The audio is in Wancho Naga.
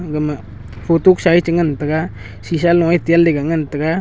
agamah photo kushae chingan taiga shisha loe tyenley ngan taiga.